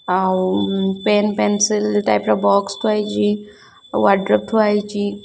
ଆଉ um pen pencil type ର box ଥୁଆ ହେଇଚି ୱାର୍ଡରୋବ୍‌ ଥୁଆ ହେଇଚି।